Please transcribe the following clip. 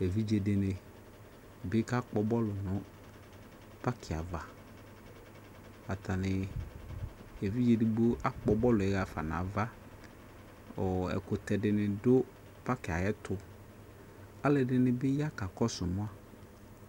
Evidze de ne be ka kpɔ bɔlu no paki avaAtane, evidze edigbo akpɔ bɔluɛ hafa nava ko ɛkutɛ de ne do paki ayetoAlɛde ne be ya ka kɔso ma